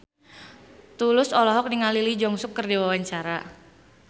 Tulus olohok ningali Lee Jeong Suk keur diwawancara